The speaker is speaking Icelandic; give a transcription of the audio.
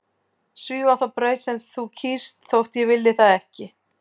Svífa þá braut sem þú kýst þótt ég vilji það ekki.